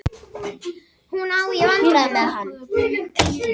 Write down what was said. Hún á í vandræðum með hann.